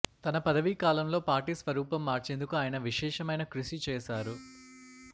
తన పదవీ కాలంలో పార్టీ స్వరూపం మార్చేందుకు ఆయన విశేషమైన కృషి చేశారు